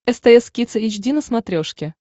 стс кидс эйч ди на смотрешке